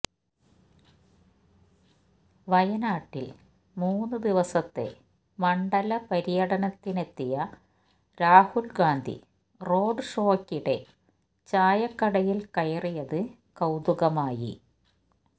വയനാട്ടില് മൂന്ന് ദിവസത്തെ മണ്ഡല പര്യടനത്തിനെത്തിയ രാഹുല് ഗാന്ധി റോഡ് ഷോയ്ക്കിടെ ചായക്കടയില് കയറിയത് കൌതുകമായി